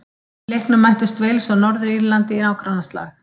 Í leiknum mættust Wales og Norður-Írland í nágrannaslag.